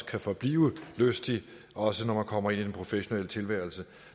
kan forblive lyst også når man kommer ind i den professionelle tilværelse